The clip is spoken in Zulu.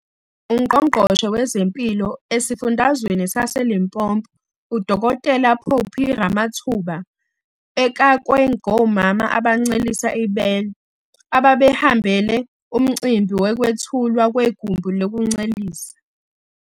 UNgqongqoshe wezeMpilo esiFundazweni saseLimpopo uDkt Phophi Ramathuba ekakwe ngomama abancelisa ibele abebehambele umcimbi wokwethulwa kwegumbi lokuncelisa.